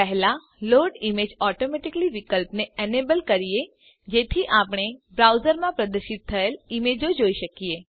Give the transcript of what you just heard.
પહેલા load images automatically વિકલ્પને enable સક્રિય કરીએ જેથી આપણે બ્રાઉઝરમાં પ્રદર્શિત થયેલ ઈમેજો જોઈ શકીએ